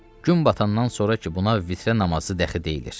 Gün batandan sonra ki, buna vitrə namazı dəxi deyilir.